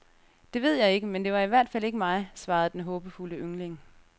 Det ved jeg ikke, men det var i hvert fald ikke mig, svarede den håbefulde yngling.